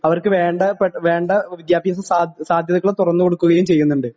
അവർക്ക് വേണ്ട പ്ര വേണ്ട വിദ്യാഭ്യാസ സാ സാധ്യതകള് തുറന്നു കൊടുക്കുകയും ചെയ്യുന്നുണ്ട്.